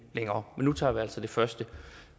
længere men nu tager vi altså det første